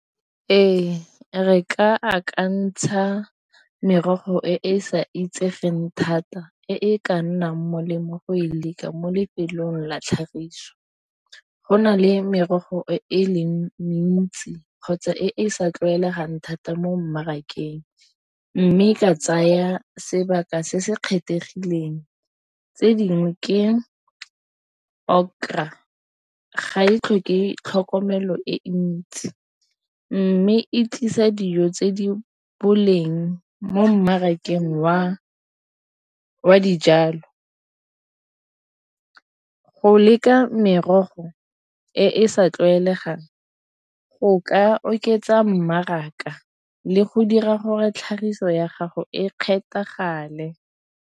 Ee, re ka akantsha merogo e e sa itsegeng thata, e ka nnang molemo go e leka mo lefelong la tlhagiso. Ho na le merogo e leng mentsi kgotsa e e sa tlwaelegang thata mo mmarakeng mme ka tsaya sebaka se se kgethegileng tse dingwe ke okra ga e tlhoke tlhokomelo e ntsi mme e tlisa dijo tse di boleng mo mmarakeng wa dijalo. Ho leka merogo e e sa tlwaelegang go ka oketsa mmaraka le go dira gore tlhagiso ya gago e kgethagale.